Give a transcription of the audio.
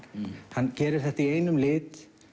hann gerir þetta í einum lit